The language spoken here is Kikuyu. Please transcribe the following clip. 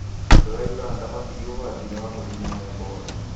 Andũ a Uganda matirĩ ũgwati-inĩ wa mũrimũ wa Ebora